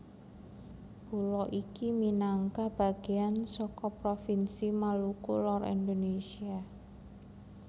Pulo iki minangka bagéan saka provinsi Maluku Lor Indonésia